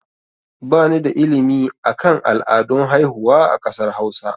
Ba ni da ilimi akan al'adun haihuwa a kasar hausa